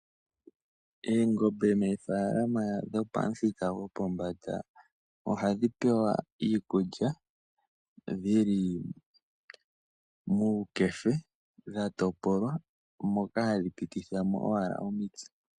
Eengombe mee faalama dhopamuthika gopombanda, ohadhipewa iikulya dhili muukefe dhatopolwa, moka hadhipitithamo owala omitse.